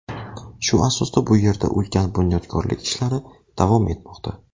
Shu asosda bu yerda ulkan bunyodkorlik ishlari davom etmoqda.